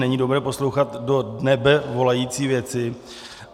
Není dobré poslouchat do nebe volající věci.